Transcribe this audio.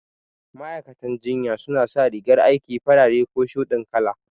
Ma'aikatan jinya su na sa rigar aiki farare ko shuɗin kala